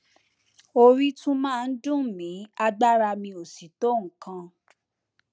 orí tún máa ń dùn mí agbára mi ò sì tó nǹkan